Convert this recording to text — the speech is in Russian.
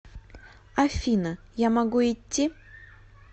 афина я могу идти